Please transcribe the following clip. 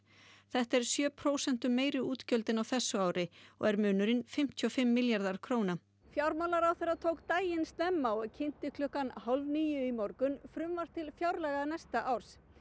þetta eru sjö prósentum meiri útgjöld en á þessu ári og er munurinn fimmtíu og fimm milljarðar króna fjármálaráðherra tók daginn snemma og kynnti klukkan hálf níu í morgun frumvarp til fjárlaga næsta árs